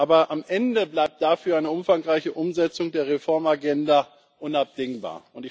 Aber am Ende bleibt dafür eine umfangreiche Umsetzung der Reformagenda unabdingbar.